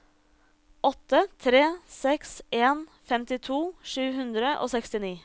åtte tre seks en femtito sju hundre og sekstini